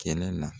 Kɛlɛ la